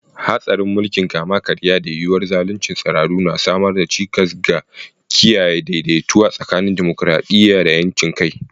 Hatsarin mulkin kama-karya da yuwuwar zaluncin tsiraru na samar da cikas ga kiyaye daidaituwa tsakanin dimokuradiyya da 'yancin kai.